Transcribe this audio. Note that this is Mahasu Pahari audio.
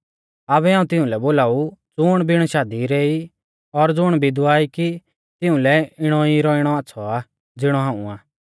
आबै हाऊं तिउंलै बोलाऊ ज़ुण बिण शादी रै ई और ज़ुण विधवा ई कि तिऊं लै इणौ ई रौइणौ आच़्छ़ौ आ ज़िणौ हाऊं आ